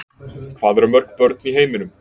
Hvað eru mörg börn í heiminum?